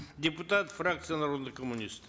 депутаты фракции народный коммунист